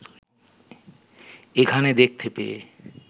এখানে দেখতে পেয়ে